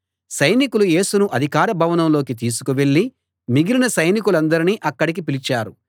సైనికులు యేసును అధికార భవనంలోకి తీసుకు వెళ్ళి మిగిలిన సైనికులందర్నీ అక్కడికి పిలిచారు